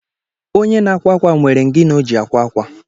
Onye na-akwa akwa nwere ingini o ji akwa akwa